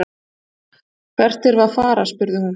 Hvert erum við að fara, spurði hún.